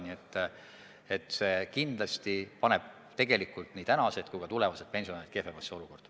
Nii et see kindlasti paneb tegelikult nii praegused kui ka tulevased pensionärid kehvemasse olukorda.